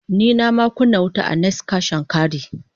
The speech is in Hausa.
Ni nama kunna wuta a "next Cash n carry".